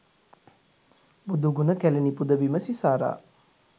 බුදුගුණ කැලණි පුදබිම සිසාරා